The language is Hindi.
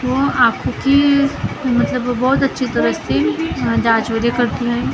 वो आखो कि मतलब बहुत अच्छे तरीके से करती है ।